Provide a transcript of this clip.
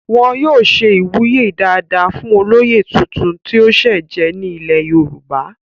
wọn yóò ṣe ìwúyè dáadáa fún olóyè tuntun tí ó sẹ̀ jẹ ní ilẹ̀ yorùbá